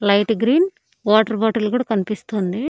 Light green water bottle కూడా కనిపిస్తోంది.